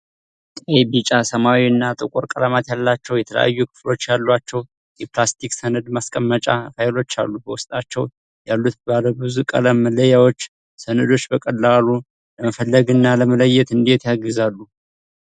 ቀይ፣ ቢጫ፣ ሰማያዊ እና ጥቁር ቀለማት ያላቸው፣ የተለያዩ ክፍሎች ያሏቸው የፕላስቲክ ሰነድ ማስቀመጫ ፋይሎች አሉ። በውስጣቸው ያሉት ባለብዙ ቀለም መለያዎች (tabs) ሰነዶችን በቀላሉ ለመፈለግ እና ለመለየት እንዴት ያግዛሉ?